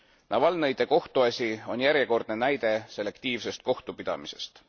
Navalnõide kohtuasi on järjekordne näide selektiivsest kohtupidamisest.